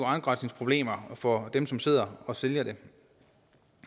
afgrænsningsproblemer for dem som sidder og sælger det